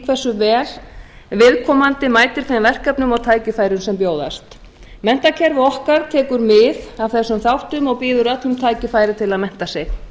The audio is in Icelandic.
hversu vel viðkomandi mætir þeim verkefnum og tækifærum sem bjóðast menntakerfi okkar tekur mið af þessum þáttum og býður öllum tækifæri til að mennta sig